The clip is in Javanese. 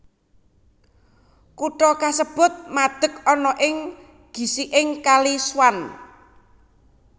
Kutha kasebut madeg ana ing gisiking Kali Swan